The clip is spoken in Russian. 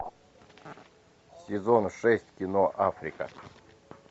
сезон шесть кино африка